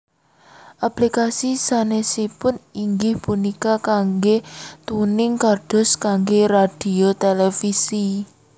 Aplikasi sanesipun inggih punika kangge tuning kados kangge radhio televisi